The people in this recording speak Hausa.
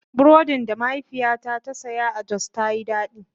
Burodin da mahaifiyata ta saya a Jos ta Yi daɗi.